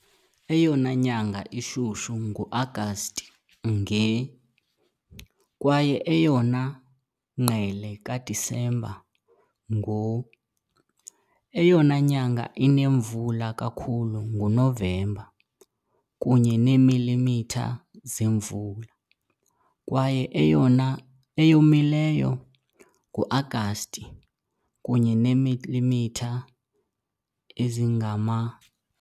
Eyona nyanga ishushu nguAgasti, nge, kwaye eyona ngqele kaDisemba, ngo- . Eyona nyanga inemvula kakhulu nguNovemba, kunye neemilimitha zemvula, kwaye eyona eyomileyo nguAgasti, kunye neemilimitha ezingama .